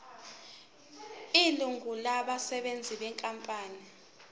ilungu labasebenzi benkampani